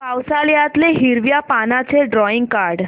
पावसाळ्यातलं हिरव्या पानाचं ड्रॉइंग काढ